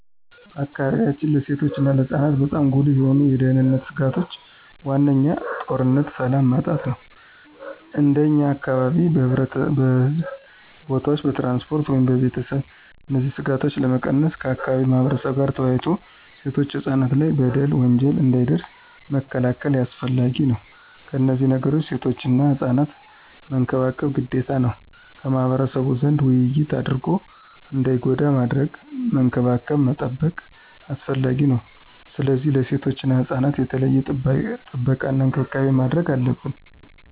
በአካባቢያችን ለሴቶች እና ለህፃናት በጣም ጉልህ የሆኑ የደህንነት ስጋቶች ዋነኛው ጦርነትና ሰላም ማጣት ነው። እንደኛ አካባቢ በሕዝብ ቦታዎች፣ በትራንስፖርት ወይም በቤተሰብ እነዚህን ስጋቶች ለመቀነስ ከአካባቢው ማህበረብ ጋር ተወያይቶ ሴቶችና ህፃናት ላይ በደል፣ ወንጀል እንዳይደርስ መከላከል አስፈላጊ ነው። ከነዚህ ነገሮችም ሴቶችና ህፃናት መንከባከብ ግዴታ ነው። ከማህበረሰቡ ዘንድ ውይይት አድርጎ እንዳይጎዱ ማድረግ፣ መንከባከብ መጠበቅ አስፈላጊ ነው። ስለዚህ ለሴቶችና ህፃናት የተለየ ጥበቃና እንክብካቤ ማድረግ አለብን።